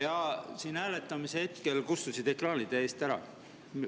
Jaa, siin hääletamise hetkel kustusid ekraanid ära.